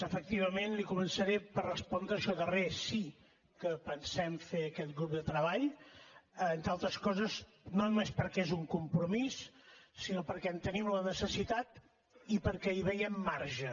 efectivament li començaré per respondre això darrer sí que pensem fer aquest grup de treball entre altres coses no només perquè és un compromís sinó perquè en tenim la necessitat i perquè hi veiem marge